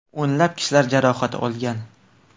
O‘nlab kishilar jarohat olgan.